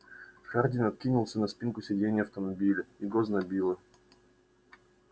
хардин откинулся на спинку сидения автомобиля его знобило